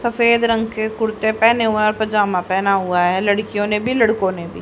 सफेद रंग के कुर्ते पहने हुए हैं और पजामा पहना हुआ है लड़कियों ने भी लड़ाकों ने भी।